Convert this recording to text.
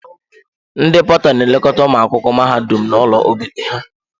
Ndị pọta n'elekọta ụmụ akwụkwọ mahadum n'ụlọ obibi ha.